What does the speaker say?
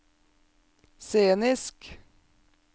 scenisk